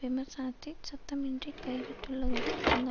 விமர்சனத்தை சத்தமின்றி கைவிட்டுள்ளதுடன் அந்த